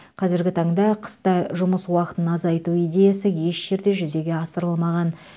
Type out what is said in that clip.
қазіргі таңда қыста жұмыс уақытын азайту идеясы еш жерде жүзе асырылмаған